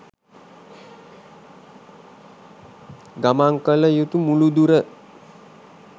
ගමන් කල යුතු මුළු දුර